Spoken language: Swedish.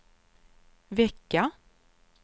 vecka